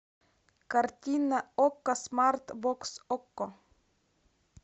картина окко смарт бокс окко